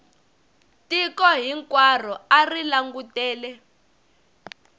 tiko hinkwaro a ri langutele